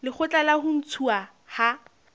lekgotla la ho ntshuwa ha